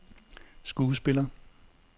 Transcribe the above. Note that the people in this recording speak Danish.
skuespiller